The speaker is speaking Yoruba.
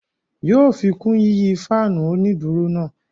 Yóò fikun yiyi faanu oniduro náà